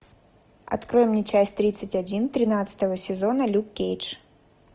открой мне часть тридцать один тринадцатого сезона люк кейдж